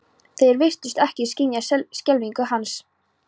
Þeir virtust ekki skynja skelfingu hans.